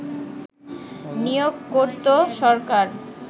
নিয়োগ করত সরকার